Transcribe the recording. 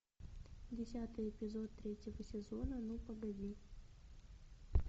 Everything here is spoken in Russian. десятый эпизод третьего сезона ну погоди